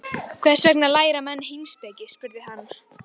Starf ykkar, á ég við, hlutverk ykkar í Fyrirtækinu.